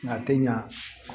Nka tɛ ɲa